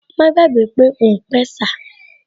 Má gbàgbé pé òun pẹ̀sà